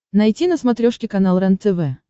найти на смотрешке канал рентв